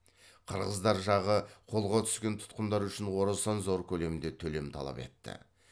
қырғыздар жағы қолға түскен тұтқындар үшін орасан зор көлемде төлем талап етті